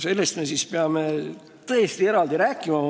Sellest me peame tõesti eraldi rääkima.